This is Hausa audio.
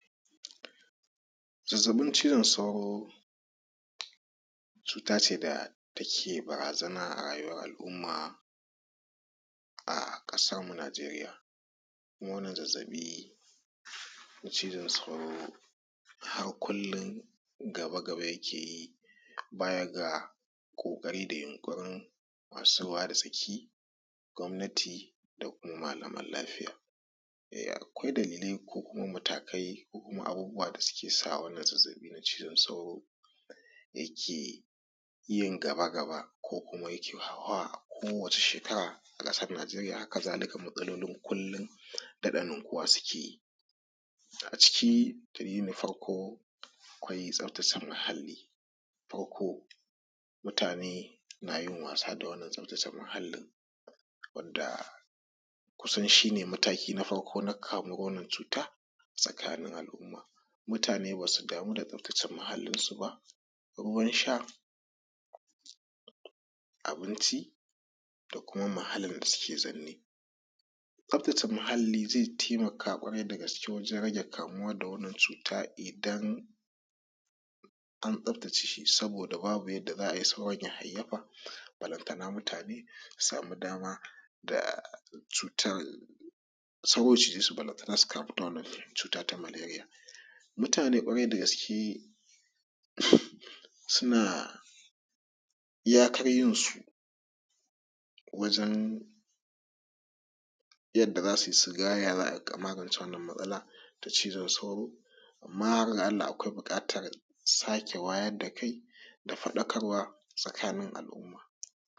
Zazzaɓin cizon sauro cuta ce da take barazana a rayuwar al'umma a ƙasarmu Nijeriya. Kuma wannan zazzaɓi na cizon sauro har kullum gaba-gaba yake yi, baya ga kokarin da yunkurin masu ruwa da tsaki na gwamnati da kuma malaman lafiya. Akwai dalillai kuma matakai ko kuma abubuwa da suke sa wannan zazzaɓin na cizon sauro yake yin gaba-gaba ko kuma yake hauhawa a kowane shekara a kasan Nijeriya. Haka zalika matsalolin kullum daɗa ninkuwa suke yi.A ciki dalilin farko akwai tsafatace muhalli, farko, mutane na yun wasa da wannan tsaftata muhallin wanda shi ne mataki na farko na kasuwar wannan cuta a cikin al'umma, mutane ba su damu da tsaftace muhallinsu ba, ruwan sha, abinci da kuma muhallin da suke zaune. Tsaftace muhalli zai taimaka kwarai da gaske wajen rage kamuwa da wannan cuta idan an tsftace shi saboda babu yadda za a yi sauran ya hayayyafa, balantana mutane su samu da dama da cutah, sauro ya cijesu balantana su kamu da wannan cuta na maleria. Mutane kwarai dagaske suna, iyakar yinsu wajen, yadda zasuyi suga ya za'a magance wannan matsalar ta cixon sauro amma har ga Allah akwai buƙatar sake wayar da kai da fadakarwa tsakanin al'umma.